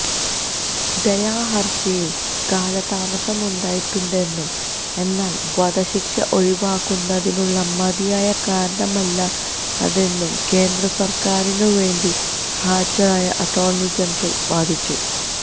ദയാഹര്ജിയില് കാലതാമസമുണ്ടായിട്ടുണ്ടെന്നും എന്നാല് വധശിക്ഷ ഒഴിവാക്കുന്നതിനുള്ള മതിയായ കാരണമല്ല അതെന്നും കേന്ദ്രസര്ക്കാരിനുവേണ്ടി ഹാജരായ അറ്റോര്ണി ജനറല് വാദിച്ചു